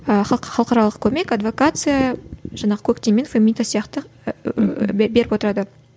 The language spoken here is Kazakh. халықаралық көмек адвокация жаңағы коктим мен фемита сияқты беріп отырады